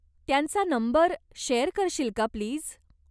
त्यांचा number share करशील का प्लीज?